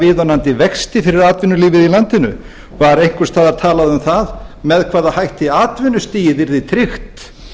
viðunandi vexti fyrir atvinnulífið í landinu var einhvers staðar talað um með hvaða hætti atvinnustigið yrði tryggt